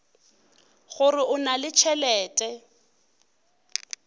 gore o na le tšhelete